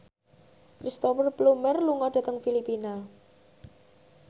Cristhoper Plumer lunga dhateng Filipina